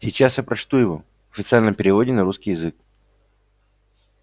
сейчас я прочту его официальном переводе на русский язык